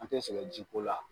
An tɛ sɛgɛn jiko la